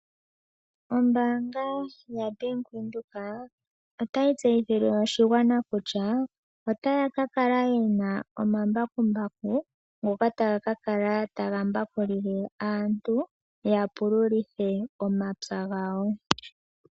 Ombaanga yaBank Windhoek otayi tseyithile oshigwana kutya otaya kakala yena omambakumbaku goko sitola yo John Deere, ngoka taga kakala taga mbakulile aantu omapya gawo.